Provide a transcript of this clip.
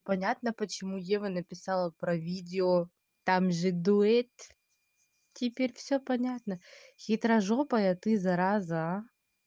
понятно почему ева написала про видео там же дует теперь все понятно хитрожопая ты зараза аа